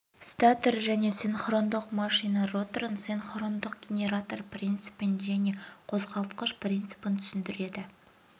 статор және синхрондық машина роторын синхрондық генератор принципін және қозғалтқыш принципін түсіндіреді